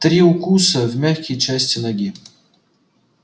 три укуса в мягкие части ноги